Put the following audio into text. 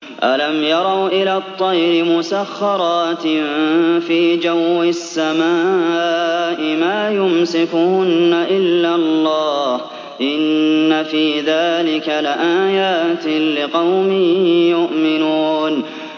أَلَمْ يَرَوْا إِلَى الطَّيْرِ مُسَخَّرَاتٍ فِي جَوِّ السَّمَاءِ مَا يُمْسِكُهُنَّ إِلَّا اللَّهُ ۗ إِنَّ فِي ذَٰلِكَ لَآيَاتٍ لِّقَوْمٍ يُؤْمِنُونَ